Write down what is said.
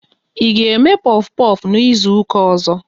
Ị ga eme pofu pofu n'izuka ọzọ?